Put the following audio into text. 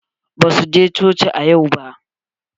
Basu je coci a yau ba.